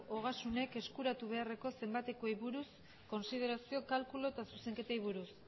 ogasunek eskuratu beharreko zenbatekoei buruzko kontsiderazio kalkulu eta zuzenketei buruz